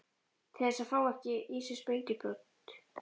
Til þess að fá ekki í sig sprengjubrot.